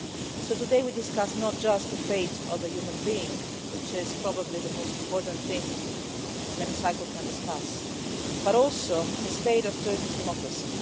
So today we are discussing not just the fate of a human being, which is probably the most important thing the Chamber can discuss, but also the state of Turkey's democracy.